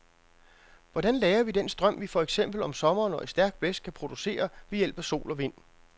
Hvordan lagrer vi den strøm, vi for eksempel om sommeren og i stærk blæst kan producere ved hjælp af sol og vind?